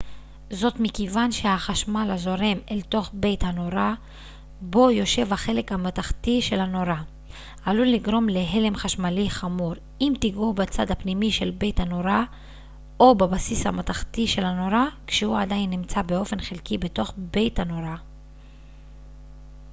זאת מכיוון שהחשמל הזורם אל תוך בית הנורה בו יושב החלק המתכתי של הנורה עלול לגרום להלם חשמלי חמור אם תגעו בצד הפנימי של בית הנורה או בבסיס המתכתי של הנורה כשהוא עדיין נמצא באופן חלקי בתוך בית הנורה